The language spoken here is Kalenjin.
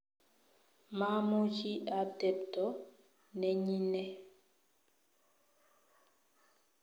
mamuchi atebto nenyine